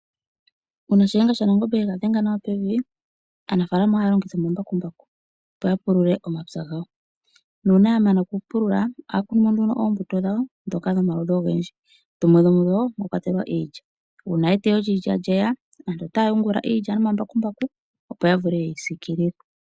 Uuna shiyenga shaNangombe ye ga dhenga nawa pevi, aanafaalama ohaya longitha omambakumbaku, opo ya pulule omapya gawo, nuuna ya mana okupulula ohaya kunu mo nduno oombuto dhawo ndhoka dhomaludhi ogendji dhimwe dhomu dho iilya. Uuna eteyo lyiilya lye ya aantu ohaya yungula iilya nomambakumbaku, opo ya vule ye yi siikilile.